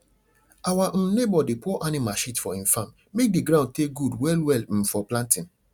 our um neighbour dey pour animal shit for im farm make d ground take good well well um for planting